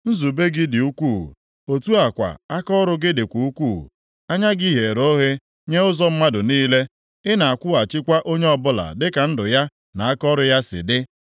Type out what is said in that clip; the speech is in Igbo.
Nzube gị dị ukwuu, otu a kwa akaọrụ gị dịkwa ukwuu. Anya gị ghere oghe nye ụzọ mmadụ niile. Ị na-akwụghachikwa onye ọbụla dịka ndụ ya na akaọrụ ya si dị.